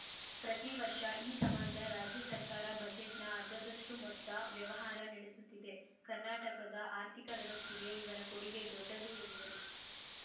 ಪ್ರತೀ ವರ್ಷ ಈ ಸಮಾಜ ರಾಜ್ಯ ಸರ್ಕಾರ ಬಜೆಟ್‌ನ ಅರ್ಧದಷ್ಟುಮೊತ್ತ ವ್ಯವಹಾರ ನಡೆಸುತ್ತಿದೆ ಕರ್ನಾಟಕದ ಆರ್ಥಿಕ ವ್ಯವಸ್ಥೆಗೆ ಇವರ ಕೊಡುಗೆ ದೊಡ್ಡದು ಎಂದರು